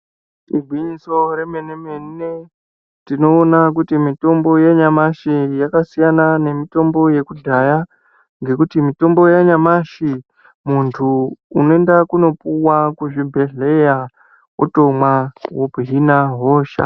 Igwinyiso remene mene tinoona kuti mitombo yanyamashi yakasiyana nemitombo yekudhaya nekuti mitombo yanyamashi muntu unenda kundopuwa kuzvibhedhleya otomwa wohina hosha.